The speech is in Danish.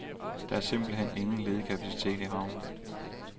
Der er simpelt hen ingen ledig kapacitet i havnen.